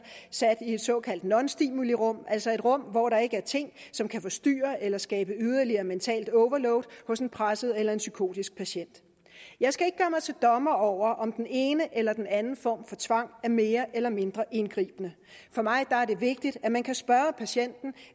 sat i et såkaldt nonstimulirum altså et rum hvor der ikke er ting som kan forstyrre eller skabe yderligere mentalt overload hos en presset eller psykotisk patient jeg skal ikke gøre mig til dommer over om den ene eller den anden form for tvang er mere eller mindre indgribende for mig er det vigtigt at man kan spørge patienten